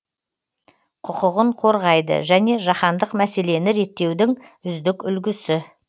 құқығын қорғайды және жаһандық мәселені реттеудің үздік үлгісі